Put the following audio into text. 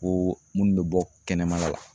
Ko munnu bɛ bɔ kɛnɛmana la